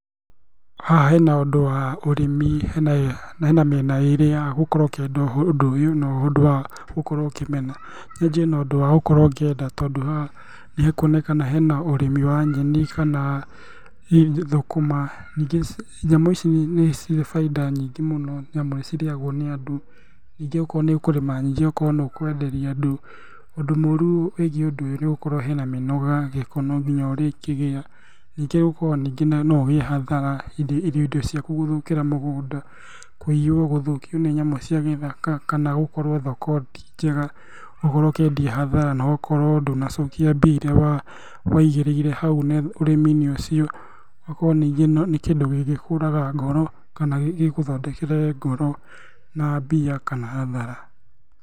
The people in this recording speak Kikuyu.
Haha hena ũndũ wa ũrĩmi, na hena mĩena ĩrĩ ya gũkorwo ũkĩenda ũndũ ũyũ na wakorogwo ũkĩmena, nĩjũĩ hena ũndũ wa gũkorwo ũkĩenda, tondũ haha nĩ hekũonekana hena ũrĩmi wa nyeni kana thũkũma, nyamũ ici nĩ cirĩ bainda nyingĩ mũno naĩmu nĩ cirĩagwo nĩ andũ ningĩ okorwo nĩ ũkũrĩma nyingĩ ũkorwo nĩ ũkwenderia andũ. Ũndũ mũru wĩgiĩ ũndũ ũyũ nĩ gũkorwo hena mĩnoga, gĩko no nginya ũrĩ kĩgĩa ningĩ no ũgĩe hathara irio ciaku gũthũkĩra mũgũnda, kũiyo, gũthũkio nĩ nyamũ cia gĩthaka kana gũkorwo thoko ti njega ũgakorwo ũkĩendia hathara nogakorwo ndũna cokia mbia iria waigĩrĩire hau ũrĩmi-inĩ ũcio, ũgakorwo ningĩ nĩ kĩndũ gĩngĩkũraga ngoro, kana gĩgũthondekere ngoro na mbia kana hathara.